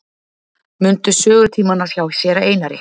Mundu sögutímana hjá séra Einari.